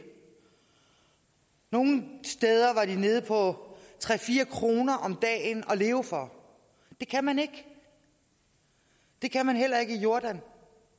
nogle steder var de nede på tre fire kroner om dagen at leve for det kan man ikke det kan man heller ikke i jordan